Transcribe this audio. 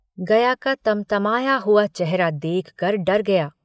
गया का तमतमाया हुआ चेहरा देखकर डर गया।